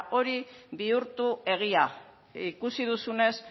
hori bihurtu egia ikusi duzunez